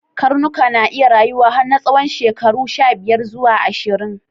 Karnuka na iya rayuwa har na tsawon shekaru shabiyar zuwa ashirin.